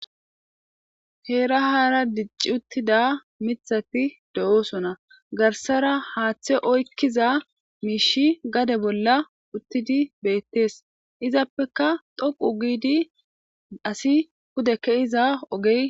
Heera haara dicci uttida mithati de'oosona garsara haaththe oykkiza miishi gade bolla uttidi beettees izappeka dhoqu giidi asi kude ke iza ogey.